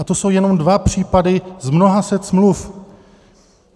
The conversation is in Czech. A to jsou jenom dva případy z mnoha set smluv.